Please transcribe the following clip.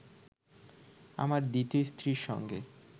আমার দ্বিতীয় স্ত্রীর সঙ্গে